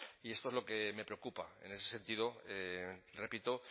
y esto es lo que me preocupa en ese sentido repito